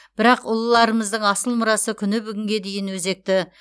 бірақ ұлыларымыздың асыл мұрасы күні бүгінге дейін өзекті